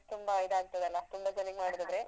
ತುಂಬ ಇದ್ ಆಗ್ತದಲ್ಲ ತುಂಬ ಜನಿಗ್